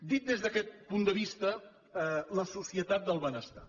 dit des d’aquest punt de vista la societat del benestar